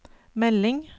melding